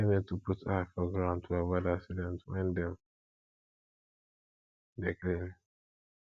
person need to put eye for ground to avoid accident when dem dey clean